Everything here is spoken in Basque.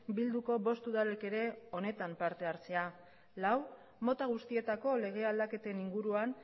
bilduko bost udalek ere honetan parte hartzea lau mota guztietako lege aldaketen inguruan